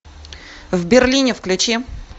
в берлине включи